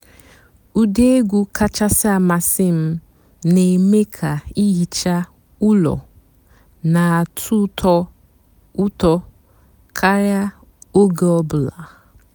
ụ́dị́ ègwú kàchàsị́ àmásị́ m nà-èmée kà ìhìchá ụ́lọ́ nà-àtọ́ ụ́tọ́ ụ́tọ́ kàríá óge ọ̀ bụ́là.